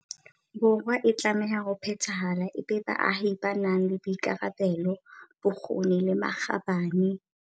Borwa a tlamehang ho phethahala e be baahi ba nang le boikarabelo, bokgoni le makgabane.